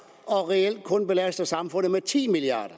og reelt kun belaster samfundet med ti milliard